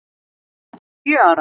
minn sjö ára.